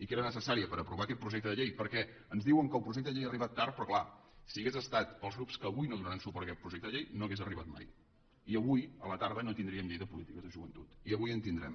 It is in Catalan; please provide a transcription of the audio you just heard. i que era necessària per aprovar aquest projecte de llei perquè ens diuen que el projecte de llei ha arribat tard però clar si hagués estat pels grups que avui no donaran suport a aquest projecte de llei no hauria arribat mai i avui a la tarda no tindríem llei de polítiques de joventut i avui en tindrem